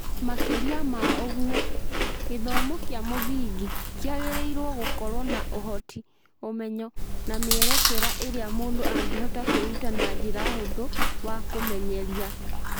Makĩria ma ũguo, gĩthomo kĩa mũthingi kĩagĩrĩirũo gũkorũo na ũhoti, ũmenyo, na mĩerekera ĩrĩa mũndũ angĩhota kwĩruta na njĩra hũthũ wa kũmenyeria.